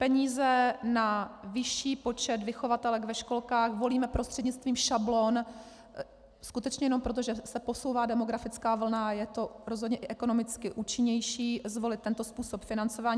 Peníze na vyšší počet vychovatelek ve školkách volíme prostřednictvím šablon skutečně jenom proto, že se posouvá demografická vlna a je rozhodně i ekonomicky účinnější zvolit tento způsob financování.